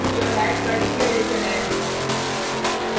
यह हैश का डिक्लेरैशन है